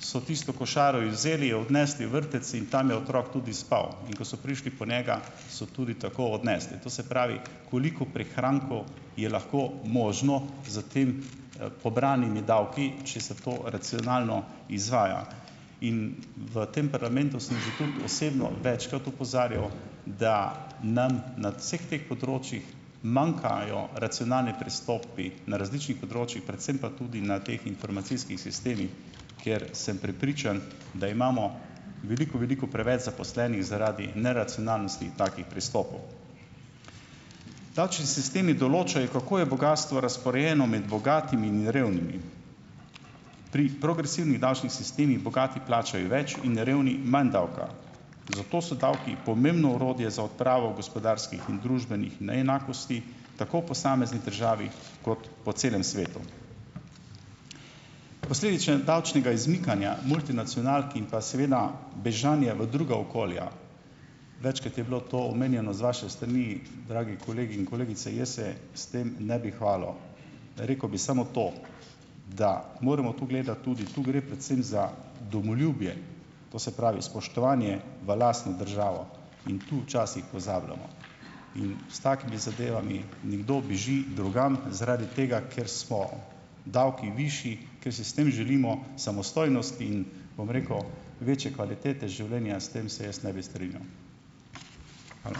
so tisto košaro izvzeli, jo odnesli v vrtec in tam je otrok tudi spal, in ko so prišli po njega, so tudi tako odnesli. To se pravi, koliko prihrankov je lahko možno s temi, pobranimi davki, če se to racionalno izvaja. In v tem parlamentu sem že tudi osebno večkrat opozarjal, da nam nad vseh teh področjih manjkajo racionalni pristopi na različnih področjih, predvsem pa tudi na teh informacijskih sistemih, kjer sem prepričan, da imamo veliko veliko preveč zaposlenih zaradi neracionalnosti takih pristopov. Davčni sistemi določajo, kako je bogastvo razporejeno med bogatimi in revnimi. Pri progresivnih davčnih sistemih bogati plačajo več in revni manj davka, zato so davki pomembno orodje za odpravo gospodarskih in družbenih neenakosti tako v posamezni državi kot po celem svetu. Posledične davčnega izmikanja multinacionalk in pa seveda bežanje v druga okolja - večkrat je bilo to omenjeno z vaše strani, dragi kolegi in kolegice - jaz se s tem ne bi hvalil. Rekel bi samo to, da moramo tudi gledati tudi - tu gre predvsem za domoljubje. To se pravi, spoštovanje v lastno državo. In tu včasih pozabljamo. In s takim zadevami - nekdo beži drugam zaradi tega, ker so davki višji, ker si s tem želimo samostojnosti in, bom rekel, večje kvalitete življenja. S tem se jaz ne bi strinjal. Hvala.